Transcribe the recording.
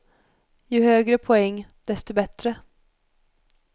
Ju högre poäng, desto bättre.